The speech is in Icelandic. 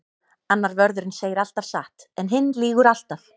Annar vörðurinn segir alltaf satt en hinn lýgur alltaf.